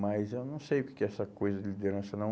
Mas eu não sei o que que é essa coisa de liderança, não.